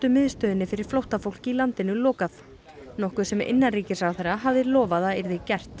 miðstöðinni fyrir flóttafólk í landinu lokað nokkuð sem innanríkisráðherra hafði lofað að yrði gert